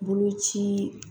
Boloci